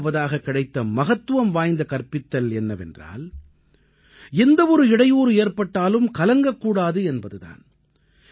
இரண்டாவதாக கிடைத்த மகத்துவம் வாய்ந்த கற்பித்தல் என்னவென்றால் எந்த ஒரு இடையூறு ஏற்பட்டாலும் கலங்கக் கூடாது என்பது தான்